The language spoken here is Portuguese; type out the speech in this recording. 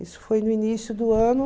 Isso foi no início do ano.